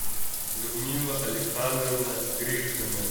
людмила александровна гришина